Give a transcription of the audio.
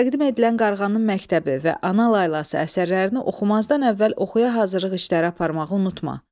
Təqdim edilən Qarğanın məktəbi və Ana laylası əsərlərini oxumazdan əvvəl oxuya hazırlıq işləri aparmağı unutma.